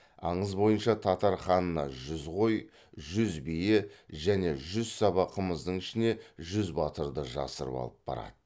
аңыз бойынша татар ханына жүз қой жүз бие және жүз саба қымыздың ішіне жүз батырды жасырып алып барады